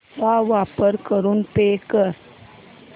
चा वापर करून पे कर